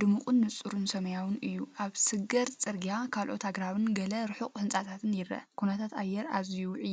ድሙቕን ንጹርን ሰማያውን እዩ። ኣብ ስግር ጽርግያ ካልኦት ኣግራብን ገለ ርሑቕ ህንጻታትን ይርአ። ኩነታት ኣየር ኣዝዩ ውዑይ ይመስል ድዩ?